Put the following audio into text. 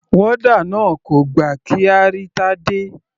Warder náà kò gbà kí a rí Tade.